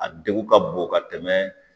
A degun ka bon ka tɛmɛ